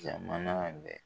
Jamana bɛɛ